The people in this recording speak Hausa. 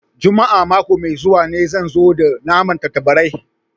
Juma'a mako mai zuwa ne zan zo da naman tattabarai